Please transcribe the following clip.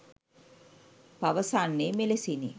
පවසන්නේ මෙලෙසිනි